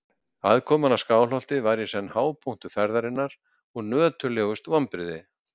Aðkoman að Skálholti var í senn hápunktur ferðarinnar og nöturlegust vonbrigði.